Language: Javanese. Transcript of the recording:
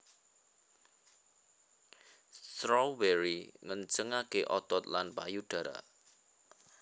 Strawberry ngencengaké otot lan payudara